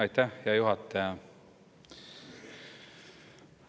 Aitäh, hea juhataja!